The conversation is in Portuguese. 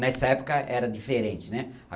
Nessa época era diferente, né.